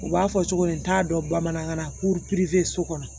U b'a fɔ cogo di n t'a dɔn bamanankan na so kɔnɔ